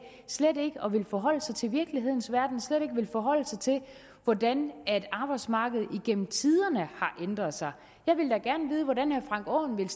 slet ikke at ville forholde sig til virkelighedens verden slet ikke at ville forholde sig til hvordan arbejdsmarkedet igennem tiderne har ændret sig jeg ville da gerne vide hvordan herre frank aaen ville